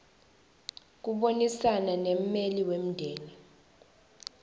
kubonisana nemmeli wemndeni